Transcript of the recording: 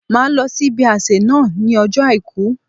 Màá lọ sí ibi àsẹ̀ náà ní ọjọ́ Àìkú